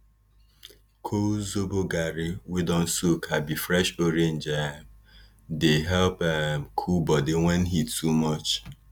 col zobo garri wey don soak abi fresh orange um dey help um cool body when heat too much